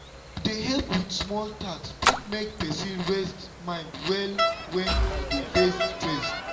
to dey help with small tasks fit make person rest mind well when e dey face stress.